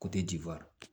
diferan